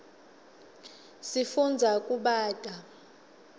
sifundza kubata